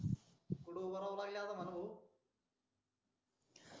पुढं उभा राहून पहा ना भाऊ